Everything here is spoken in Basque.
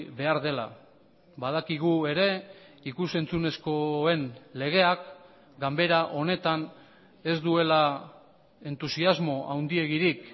behar dela badakigu ere ikus entzunezkoen legeak ganbera honetan ez duela entusiasmo handiegirik